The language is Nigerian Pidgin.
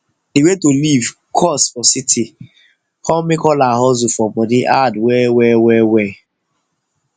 de way to live cost for city com make all her hustle for money hard well well well well